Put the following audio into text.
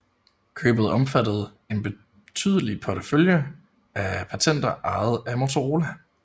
Købet omfattede en betydelig portefølje af patenter ejet af Motorola